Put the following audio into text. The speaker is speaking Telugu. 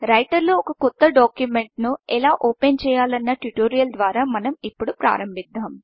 రైటర్లో ఒక కొత్త డాక్యుమెంట్ను ఎలా ఓపెన్ చేయాలన్న ట్యుటోరియల్ ద్వారా మనం ఇప్పుడు ప్రారంభిద్దాం